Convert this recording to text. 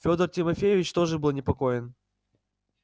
федор тимофеевич тоже был непокоен